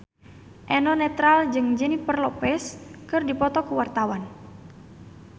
Eno Netral jeung Jennifer Lopez keur dipoto ku wartawan